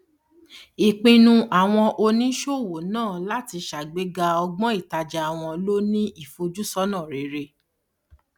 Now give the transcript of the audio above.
ìpinnu àwọn oníṣòwò náà láti sàgbéga ọgbọn ìtàjà wọn ló ní ìfojúsọnà rere